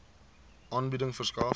aanbieding verskaf